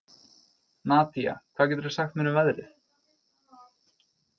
Nadía, hvað geturðu sagt mér um veðrið?